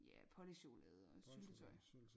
Ja pålægchokolade og syltetøj